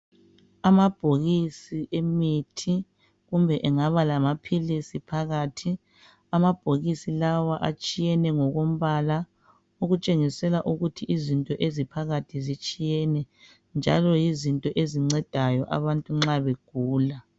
Amabhokisi emithi kumbe engaba lamaphilisi phakathi. Amabhokisi lawa atshiyene ngokombala okutshengisela ukuthi izinto eziphakathi zitshiyene njalo yizo ezinceda abantu nxa begula.